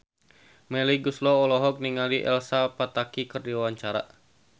Melly Goeslaw olohok ningali Elsa Pataky keur diwawancara